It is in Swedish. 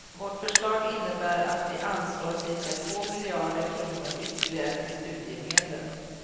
Vårt förslag innebär att vi anslår ca två miljarder kronor ytterligare till studiemedlen.